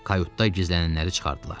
Kayutda gizlənənləri çıxardılar.